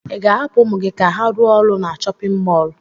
Ị ga-ahapụ ụmụ gị ka ha rụọ ọrụ na chọpịn mọọlụ?